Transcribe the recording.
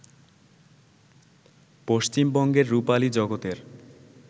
পশ্চিমবঙ্গের রুপালী জগতের